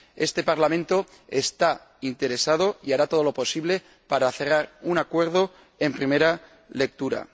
Este Parlamento está interesado y hará todo lo posible para cerrar un acuerdo en primera lectura.